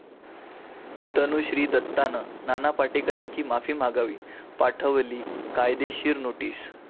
तनुश्री दत्तानं नाना पाटेकरांची माफी मागावी, पाठवली कायदेशीर नोटीस